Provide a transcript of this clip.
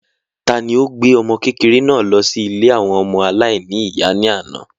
ta ni ó gbé ọmọkékeré náà lọ sí ilé àwọn ọmọ aláìní-ìyá ní àná?